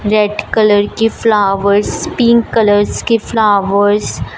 red colour की flowers pink colours के flowers --